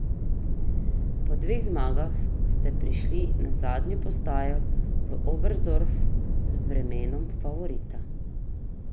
Po dveh zmagah ste prišli na zadnjo postajo v Oberstdorf z bremenom favorita.